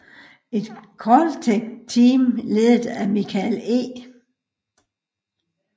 Et Caltech team ledet af Michael E